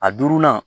A duurunan